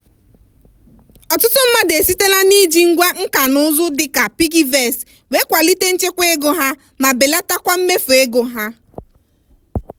ọtụtụ mmadụ esitela n'iji ngwá nka na ụzụ dịka piggyvest wee kwalite nchekwa ego ha ma belatakwa mmefu ego ha.